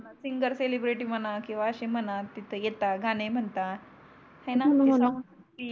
singer celebrate म्हणा किवा असे म्हणा तिथे येतात गाणे म्हणतात आहे णा हो णा